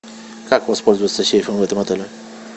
как воспользоваться сейфом в этом отеле